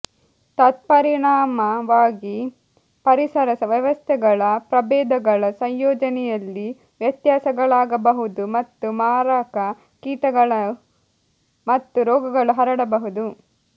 ತತ್ಪರಿಣಾಮವಾಗಿ ಪರಿಸರ ವ್ಯವಸ್ಥೆಗಳ ಪ್ರಭೇದಗಳ ಸಂಯೋಜನೆಯಲ್ಲಿ ವ್ಯತ್ಯಾಸಗಳಾಗಬಹುದು ಮತ್ತು ಮಾರಕ ಕೀಟಗಳು ಮತ್ತು ರೋಗಗಳು ಹರಡಬಹುದು